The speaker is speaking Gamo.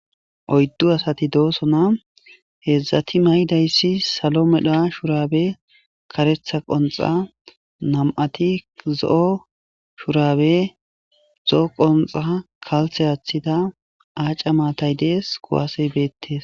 oyddu asati doosona, heedzdzati maydayssi salo medhaa shuraabe karetha qonxa nam'ati zo'o shuraabe zo'o qonxa kalthe aaththida aaca maatay dees kuwasey beettes